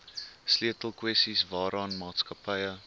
sleutelkwessies waaraan maatskappye